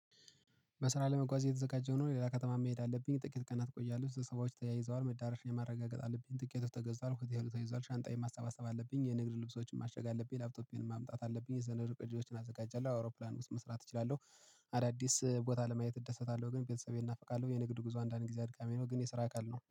በስራ ለመጓዝ እየተዘጋጀው ነው። ሌላ ከተማ መሄድ አለብኝ። ጥቂት ቀናት ቆያለሁ። ስብሰባዎች ተያይዘዋል። መዳረሻዬን ማረጋገጥ አለብኝ። ትኬቶች ተገዝቷል። ሆቴሉ ተይዟል። ሻንጣዬን ማሰባሰብ አለብኝ። የንግድ ልብሶቹን ማሸግ አለብኝ። ላፕቶፔንም ማምጣት አለብኝ። የሰነዱ ቅጂዎችን አዘጋጃለሁ። አውሮፕላን ውስጥ መስራት እችላለሁ። አዳዲስ ቦታ ለማየት እደሰታለሁ። ግን ቤተሰቤን እናፍቃለሁ። የንግድ ጉዞ አንዳንድ ጊዜ አድካሚ ነው። ግን የስራ አካል ነው።